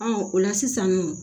o la sisan nɔ